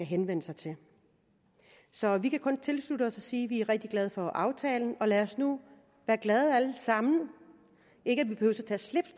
henvende sig til så vi kan kun tilslutte os og sige at vi er rigtig glade for aftalen og lad os nu være glade alle sammen